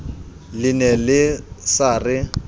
le ne le sa re